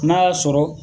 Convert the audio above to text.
N'a y'a sɔrɔ